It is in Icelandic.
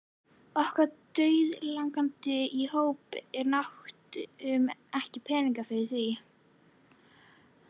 Okkur dauðlangaði í dóp en áttum ekki peninga fyrir því.